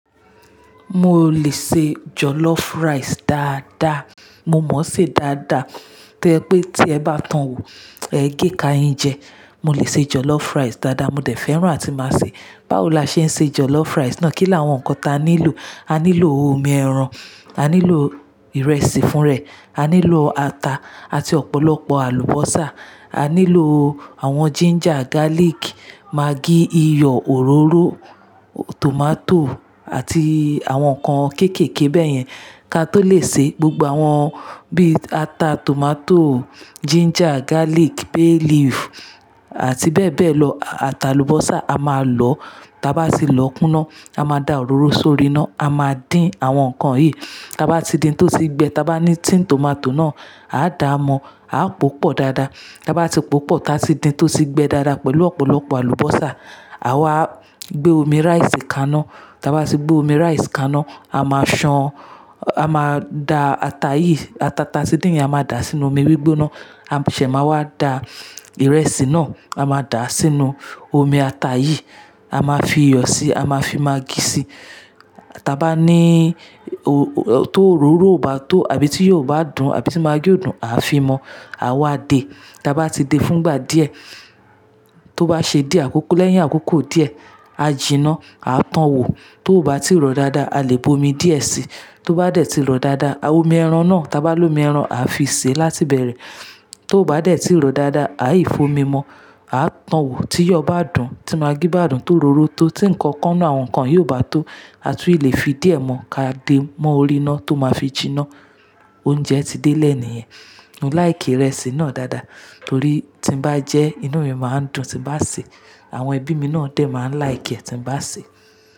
Mo lè ṣe jollof rice dáadáa. Mo mọ̀ọ́ ṣe dáadáa. To jẹ pé tí ẹ bá towò, ẹ gékáa yin jẹ. Mo lè ṣe jollof rice dáadáa, mo dẹ̀ fẹ́ràn àti máa ṣè. Báwo la ṣe ń ṣe jollof rice náà? Kí làwọn nǹkan ta nílò? A nílò omi ẹran, a nílò ìrẹsì fún rẹ̀, a nílò ata àti ọ̀pọ̀lọpọ̀ àlùbọ́sà, a nílò àwọn ginger, garlic, maggi, iyọ̀, òróró, tomato àti àwọn nǹkan kéékèèké bẹ́yẹn ká tó lè ṣe. Gbogbo àwọn bí i ata, tomato, ginger, garlic, bay leaf àti bẹ́ẹ̀ bẹ́ẹ̀ lọ, àti àlùbọ́sà a máa lọ. Taa bá sì lọ kúnáa, a máa da òróró sórí iná, a máa dín àwọn nǹkan yìí. Taa bá ti dín tó tì gbe, taa bá ní tin tomato náà, a dá a mọ, a pòpọ̀ dáadáa. Taa bá ti pòpọ̀ táa sì dín tó sì gbe dáadáa pẹ̀lú ọ̀pọ̀lọpọ̀ àlùbọ́sà, àwa gbé omi rice kaná. Taa bá sì gbé omi rice kaná, a máa ṣan, a máa da ata yìí, ata ta a ti dín yẹn a máa dà sínú omi gbígbóná. A ṣẹ̀ máa wá da ìrẹsì náà, a máa dà á sínú omi ata yìí. A máa fi iyọ̀ síi, a máa fi maggi síi. Taa bá ní tó òróró ò bá tó àbí tí iyọ̀ ò bá dùn, àbí tí maggi ò dùn, a fi mọ̀. Àa wa dé. Taa bá ti dé fúngbà díẹ̀, tó bá ṣe dié àkókò lẹ́yìn àkókò díẹ̀, a jìná, a towò. Tó bá ti rọ̀ dáadáa, a lè bomi díẹ̀ síi. Tó bá dẹ̀ ti rọ̀ dáadáa, omi ẹran náà, ta bá lomi ẹran, a fi sè láti ibẹ̀rẹ̀. Tó bá dẹ̀ ti rọ̀ dáadáa, a ì f'omi mọ̀, a towò. Tí iyọ̀ bá dùn, tí maggi bá dùn, tó òróró tó, tí nǹkan kan náà àwọn nǹkan yìí ò bá tó, a tún lè fi díẹ̀ mọ̀ ká dé mọ́ orí iná tó máa fi jìná. Oúnjẹ ti dé lẹ́ẹ̀ni yẹn. Mo like ìrẹsì náà dáadáa torí tí n bá jẹ, inú mi máa ń dùn. Tí n bá sè, àwọn ẹbí mi náà dẹ̀ máa like ẹ̀ tí n bá sè.